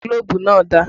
Gílóbú náà dà?